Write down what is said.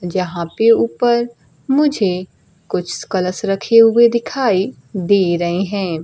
जहां पे ऊपर मुझे कुछ कलश रखे हुये दिखाई दे रहे है।